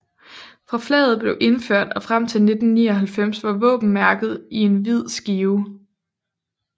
Fra flaget blev indført og frem til 1999 var våbenmærket i en hvid skive